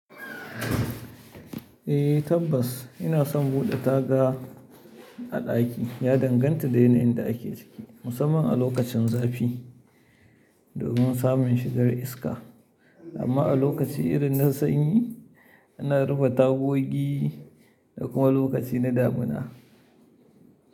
Eh tabbas ina son buɗe taga a ɗaki ya danganta da yanayin da ake ciki, musamman a lokacin zafi domin samun shigar iska. Amma a lokaci irin na sanyi ana rufe tagogi da kuma lokaci na damuna.